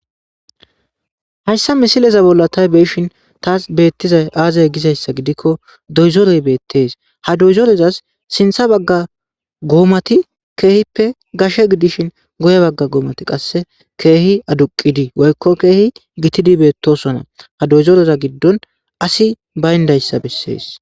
hayssa misileza bolla tay beeshin taas beettiza aazay gizayssa gidikko doyzoroy beettees ha doyzorozas sintha bagga goomati keehippe gashe gidishin goye bagga goomati qasse keehi aduqidii woykko keehi gitidi beettosona ha doyzoreza giddon asi bayndayssa bessees